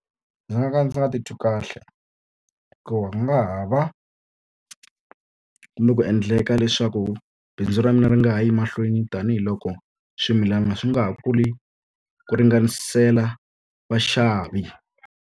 Ndzi nga ka ndzi nga titwi kahle hikuva ku nga ha va kumbe ku endleka leswaku bindzu ra mina ri nga ha yi mahlweni tanihiloko swimilana swi nga ha kuli ku ringanisela vaxavi.